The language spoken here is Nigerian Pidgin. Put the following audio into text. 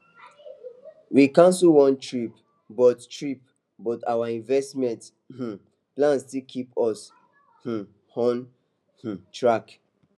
we cancel one trip but trip but our investment um plan still keep us um on um track